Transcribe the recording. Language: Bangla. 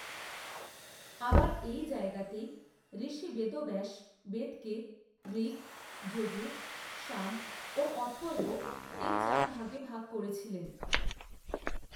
আবার, এই জায়গাতেই ঋষি বেদব্যাস বেদকে ঋগ, যজুঃ, সাম ও অথর্ব এই চার ভাগে ভাগ করেছিলেন।